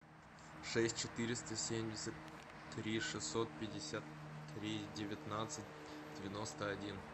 шесть четыреста семьдесят три шестьсот пятьдесят три девятнадцать девяносто один